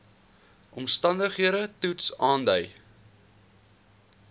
omstandigheids toets aandui